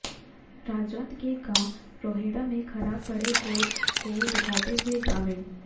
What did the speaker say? राजौंद के गांव रोहेड़ा में खराब पड़े बोर को दिखाते हुए ग्रामीण